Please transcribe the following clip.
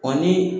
Ɔ ni